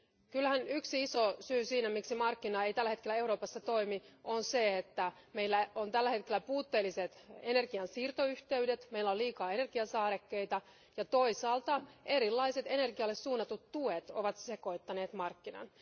Kyllähän yksi iso syy siihen, miksi markkinat eivät tällä hetkellä Euroopassa toimi, on se, että meillä on tällä hetkellä puutteelliset energian siirtoyhteydet, meillä on liikaa energiasaarekkeita ja toisaalta erilaiset energialle suunnatut tuet ovat sekoittaneet markkinat.